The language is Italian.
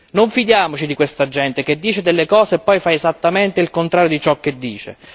Non fidiamoci di questa gente che dice delle cose e poi fa esattamente il contrario di ciò che dice.